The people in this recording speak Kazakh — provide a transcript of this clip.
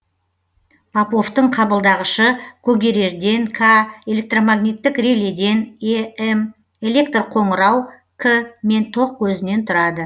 поповтың қабылдағышы когерерден к электромагниттік реледен эм электр қоңырау к мен ток көзінен тұрады